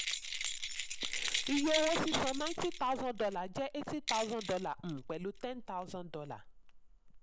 iye owó sísan: ninety thousand dollar jẹ́ eighty thousand dollar um pẹ̀lú ten thousand dollar